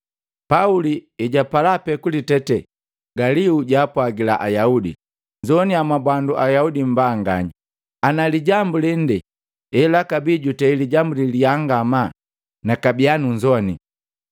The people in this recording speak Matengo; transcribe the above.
Pauli hejapala pee kulitete, Galio jaapwagila Ayaudi, “Nnzoaniya mwa Ayaudi mmbanganya! Ana lijambu lende elakabii jutei lijambu la liyaa ngamaa nakabia nunzowani.